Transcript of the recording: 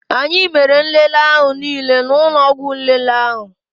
Anyị mere nlele ahụ niile n'ụlọ ọgwụ nlele ahụ